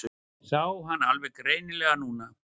Sá hann alveg greinilega núna.